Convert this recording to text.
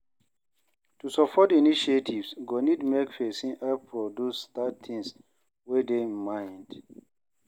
To support initiatives go need make persin help produce that thing wey de im mind